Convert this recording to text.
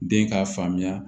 Den k'a faamuya